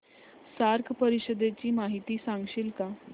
SAARC परिषदेची माहिती सांगशील का